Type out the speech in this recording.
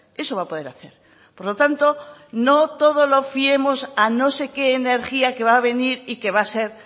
eso va a poder hacer por lo tanto no todo lo fiemos a no sé qué energía que va a venir y que va a ser